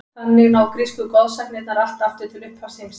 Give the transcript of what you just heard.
Þannig ná grísku goðsagnirnar allt aftur til upphafs heimsins.